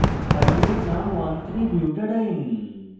file name 13butadiene